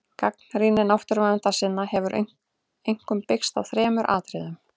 Gagnrýni náttúruverndarsinna hefur einkum byggst á þremur atriðum.